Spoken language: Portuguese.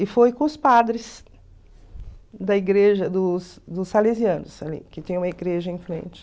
E foi com os padres da igreja dos dos Salesianos, que tem uma igreja em frente.